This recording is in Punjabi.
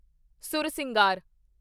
ਸੁਰਸਿੰਗਾਰ